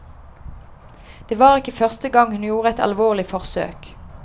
Det var ikke første gang hun gjorde et alvorlig forsøkt.